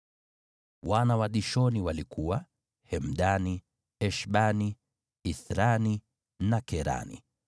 Wana wa Dishoni walikuwa: Hemdani, Eshbani, Ithrani na Kerani.